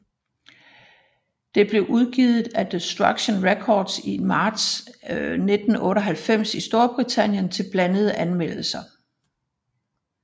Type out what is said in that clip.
Det blev udgivet af Deconstruction Records i marts 1998 i Storbritannien til blandede anmeldelser